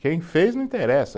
Quem fez não interessa.